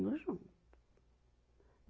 Mundo junto.